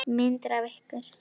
Myndir af ykkur.